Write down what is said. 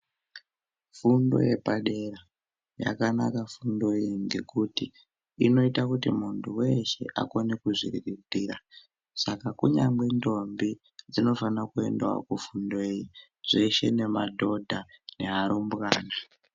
Fundo yepadera yakanaka fundo iyi ngekuti inoita kuti muntu veshe akone kuzviriritira. Saka kunyangwe ndombi dzinofanira kuendavo kofundeyo zveshe nemadhodha nearumbwana.